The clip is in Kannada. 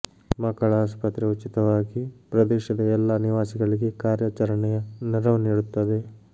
ಮಕ್ಕಳ ಆಸ್ಪತ್ರೆ ಉಚಿತವಾಗಿ ಪ್ರದೇಶದ ಎಲ್ಲಾ ನಿವಾಸಿಗಳಿಗೆ ಕಾರ್ಯಾಚರಣೆಯ ನೆರವು ನೀಡುತ್ತದೆ